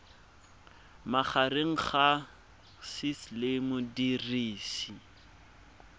magareng ga gcis le modirisi